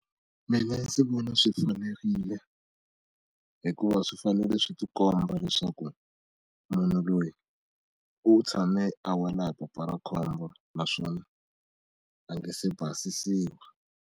Mina ndzi vona swi fanerile hikuva swi fanele swi ti komba leswaku munhu loyi u tshame a wela hi papa ra khombo naswona a nga se basisiwa.